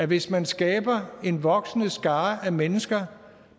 hvis man skaber en voksende skare af mennesker